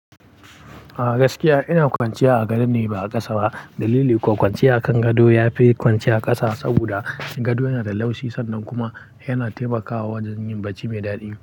A gaskiya ina kwanciya a gadon ne ba a ƙasa ba. Dalili kuwa kwanciya a kan gado ya fi kwanciya a ƙasa, saboda gado yana da laushi sannan kuma yana taimakawa wajen yin bacci mai daɗi.